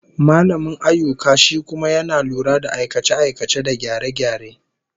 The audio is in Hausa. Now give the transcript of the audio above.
Mallamin ayyuka shi kuma yana lura da aikace-aikace da gyare-gyare